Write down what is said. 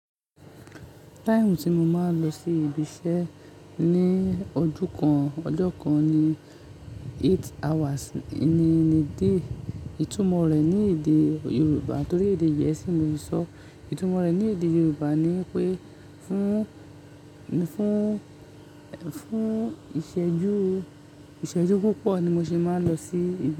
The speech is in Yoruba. Time tí mo máa ń lọ sí ibi iṣẹ́ ní ọjọ́ kan ní eight hours in a day. Ìtumọ̀ rẹ̀ ní èdè Yorùbá, torí èdè gẹẹsi ni mo sọ. Ìtumọ̀ rẹ̀ ní èdè Yorùbá ni pé fún, fún, fún ìṣẹ́jú, ìṣẹ́jú púpọ̀ ni mo ṣe máa ń lọ sí ibi.